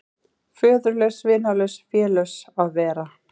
Föðurlaus, vinalaus, félaus að vera.